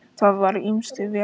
Það var ýmsu velt upp.